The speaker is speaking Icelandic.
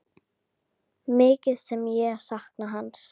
Mikið sem ég sakna hans.